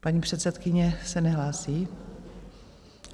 Paní předsedkyně se nehlásí?